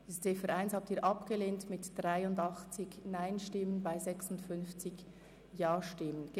Sie haben die Ziffer 1 der Motion mit 56 Ja- gegen 83 Nein-Stimmen bei 6 Enthaltungen abgelehnt.